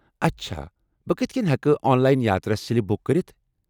اچھا ! بہٕ کتھہٕ کٔنۍ ہٮ۪کہٕ online yatra slip book کٔرِتھ؟